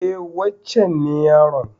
E, wancen ne yaron.